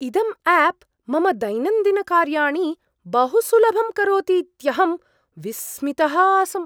इदम् आप् मम दैनन्दिनकार्याणि बहु सुलभं करोतीत्यहं विस्मितः आसम्।